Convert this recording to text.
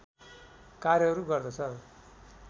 कार्यहरू गर्दछ